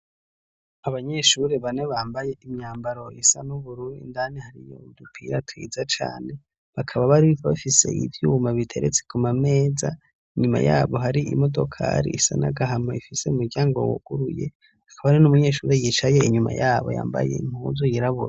Abanyeshuri bane bambaye imyambaro isa n'ubururu, indani hariy'udupira twiza cane bakaba bari bafise ivyuma biteretse kumameza, inyuma yabo hari imodokari isa n'agahama ifise n'umuryango wuguruye hakaba hari n'umunyeshuri yicaye inyuma yabo yambaye impuzu yirabura.